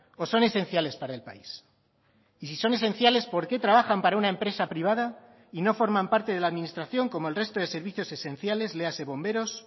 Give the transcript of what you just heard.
o son esenciales para el país y si son esenciales por qué trabajan para una empresa privada y no forman parte de la administración como el resto de servicios esenciales léase bomberos